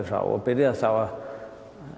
frá og byrjaði þá